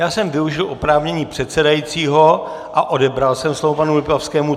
Já jsem využil oprávnění předsedajícího a odebral jsem slovo panu Lipavskému.